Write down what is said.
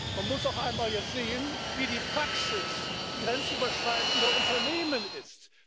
Man muss jetzt auch einmal sehen, wie die Praxis grenzüberschreitender Unternehmen ist.